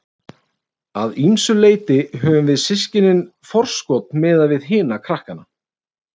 Að ýmsu leyti höfðum við systkinin forskot miðað við hina krakkana.